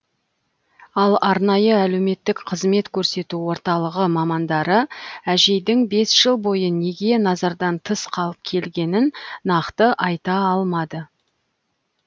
ал арнайы әлеуметтік қызмет көрсету орталығы мамандары әжейдің бес жыл бойы неге назардан тыс қалып келгенін нақты айта алмады